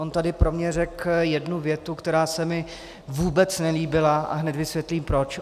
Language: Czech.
On tady pro mě řekl jednu větu, která se mi vůbec nelíbila, a hned vysvětlím proč.